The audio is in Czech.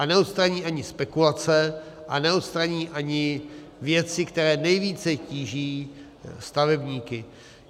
A neodstraní ani spekulace a neodstraní ani věci, které nejvíce tíží stavebníky.